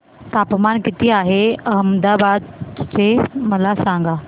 तापमान किती आहे अहमदाबाद चे मला सांगा